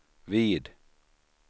vid